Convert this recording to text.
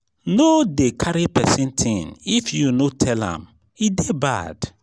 no dey carry pesin tin if you no tell am e dey bad.